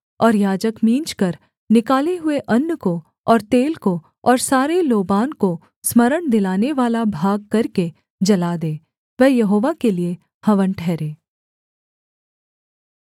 और याजक मींजकर निकाले हुए अन्न को और तेल को और सारे लोबान को स्मरण दिलानेवाला भाग करके जला दे वह यहोवा के लिये हवन ठहरे